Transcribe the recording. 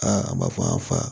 Aa a b'a fɔ an y'a fa